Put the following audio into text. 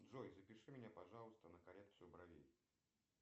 джой запиши меня пожалуйста на коррекцию бровей